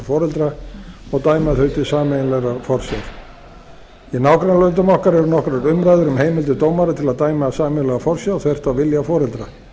foreldra og dæma þau til sameiginlegrar forsjár í nágrannalöndum okkar eru nokkrar umræður um heimildir dómara til að dæma sameiginlega forsjá þvert á vilja foreldra